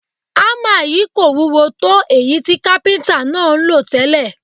Ámà yìí kò wúwo tó èyí tí kápíntà náà ń lò tẹ́lẹ̀